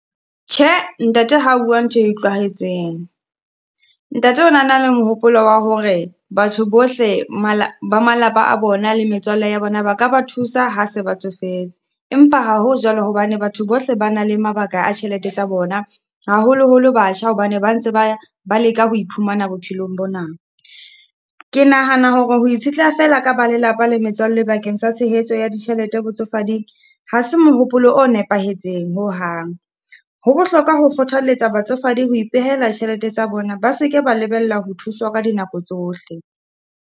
Tjhe, ntate ha bua ntho e utlwahetseng. Ntate o na na le mohopolo wa hore batho bohle ba malapa a bona le metswalle ya bona, ba ka ba thusa ha se ba tsofetse. Empa ha ho jwalo hobane batho bohle ba na le mabaka a tjhelete tsa bona, haholoholo batjha, hobane ba ntse ba ba leka ho iphumana bophelong bona. Ke nahana hore ho itshetleha fela ka ba lelapa le metswalle bakeng sa tshehetso ya ditjhelete botsofading, ha se mohopolo o nepahetseng ho hang. Ho bohlokwa ho kgothaletsa batsofadi ho ipehela tjhelete tsa bona, ba seke ba lebella ho thuswa ka dinako tsohle.